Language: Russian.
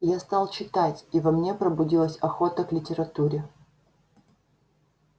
я стал читать и во мне пробудилась охота к литературе